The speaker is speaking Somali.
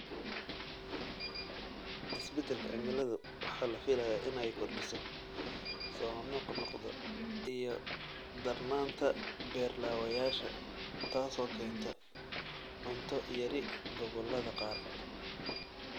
Isbeddelka cimiladu waxa la filayaa inay kordhiso soo noqnoqda iyo darnaanta beer-laawayaasha, taasoo keenta cunto yari gobollada qaar.